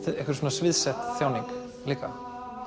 sviðsett tjáning líka